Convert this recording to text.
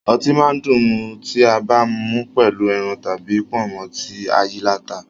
Ọtí máa dùn mu tí a bá mú pẹ̀lú ẹran tàbí pọ̀nmọ́ tí ayíaláta